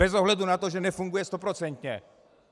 Bez ohledu na to, že nefunguje stoprocentně.